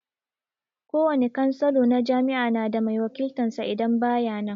Kowane cansalo na jami'a na da mai wakiltan sa idan ba ya nan